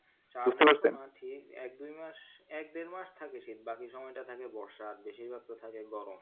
ঠিক এক দুই মাস এক দেড় মাস থাকে শীত বাকি সময়টা থাকে বর্ষা আর বেশির ভাগ তো থাকে গরম